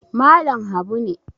Malam Habu ne